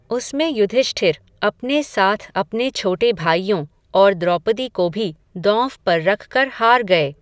उसमें युधिष्ठिर अपने साथ अपने छोटे भाइयों, और द्रौपदी को भी, दॉंव पर रखकर, हार गए